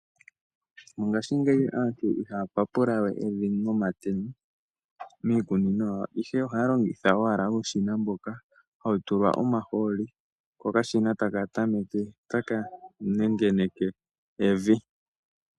Mongaashingeyi aantu ihaya papulawe evi nomatemo miikunino yawo. Ashike ohaya longitha owala uushina mboka hawu tulwa omahooli . Ko okashina taka tameke taka nengeneke evi.